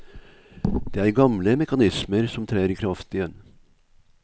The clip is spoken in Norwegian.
Det er gamle mekanismer som trer i kraft igjen.